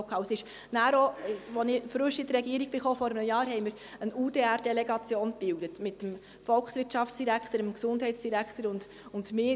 Als ich vor einem Jahr neu in die Regierung kam, bildeten wir eine UDR-Delegation mit dem Volkswirtschaftsdirektor, dem Gesundheitsdirektor und mir.